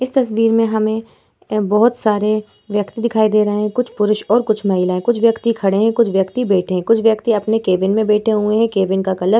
इस तस्वीर में हमें अ बोहोत सारे व्यक्ति दिखाई दे रहे है। कुछ पुरुष और कुछ महिलाएँ। कुछ व्यक्ति खड़े है कुछ व्यक्ति बैठे है कुछ व्यक्ति अपने केबिन में बैठे हुए है। केबिन का कलर --